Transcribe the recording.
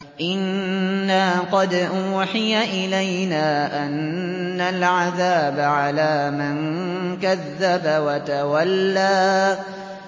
إِنَّا قَدْ أُوحِيَ إِلَيْنَا أَنَّ الْعَذَابَ عَلَىٰ مَن كَذَّبَ وَتَوَلَّىٰ